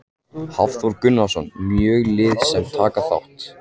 Hafþór Gunnarsson: Mörg lið sem taka þátt?